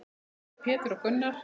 Sveinn, Pétur og Gunnar.